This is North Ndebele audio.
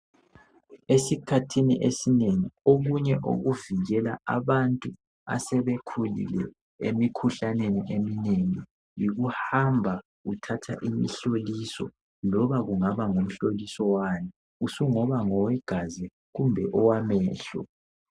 Esikhathini esinengi okunye okuvikela abantu asebekhulile emikhuhlaneni eminengi yikuhamba uthatha imihloliso loba kungaba ngumhloliso wani. Usungaba ngowe gazi kumbe owamehlo.